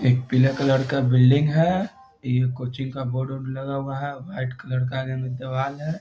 एक पीला कलर का बिल्डिंग है। ये कोचिंग का बोर्ड उर्ड लगा हुआ है और वाइट कलर का आगे में दीवार है।